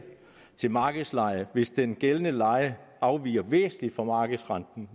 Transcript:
til markedslejen hvis den gældende leje afviger væsentligt fra markedslejen